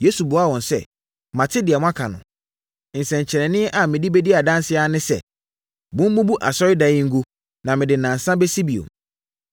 Yesu buaa wɔn sɛ, “Mate deɛ moaka no. Nsɛnkyerɛnneɛ a mede bɛdi adanseɛ ara ne sɛ, mommubu asɔredan yi ngu na mede nnansa bɛsi bio.”